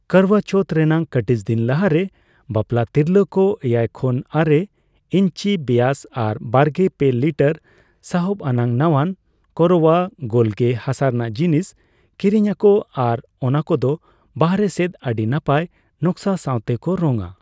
ᱠᱚᱨᱳᱣᱟ ᱪᱳᱣᱛᱷ ᱨᱟᱱᱟᱜ ᱠᱟᱴᱤᱪ ᱫᱤᱱ ᱞᱟᱦᱟᱨᱮ ᱵᱟᱯᱞᱟ ᱛᱤᱨᱞᱟᱹ ᱠᱚ ᱮᱭᱟᱭ ᱠᱷᱚᱱ ᱟᱨᱮ ᱤᱱᱪᱤ ᱵᱮᱭᱟᱥ ᱟᱨ ᱵᱟᱨᱜᱮᱞ ᱯᱮ ᱞᱤᱴᱟᱨ ᱥᱟᱦᱚᱵ ᱟᱱᱟᱜ ᱱᱟᱣᱟᱱ ᱠᱚᱨᱳᱣᱟ (ᱜᱳᱞᱜᱮ ᱦᱟᱥᱟ ᱨᱮᱭᱟᱜ ᱡᱤᱱᱤᱥ) ᱠᱤᱨᱤᱧᱟ ᱠᱚ ᱟᱨ ᱚᱱᱟ ᱠᱚ ᱫᱚ ᱵᱟᱨᱦᱮ ᱥᱮᱫ ᱟᱹᱰᱤ ᱱᱟᱯᱟᱭ ᱱᱚᱠᱥᱟ ᱥᱟᱣᱛᱮ ᱠᱚ ᱨᱝᱼᱟ ᱾